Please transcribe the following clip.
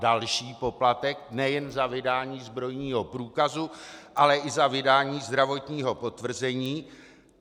Další poplatek, nejen za vydání zbrojního průkazu, ale i za vydání zdravotního potvrzení.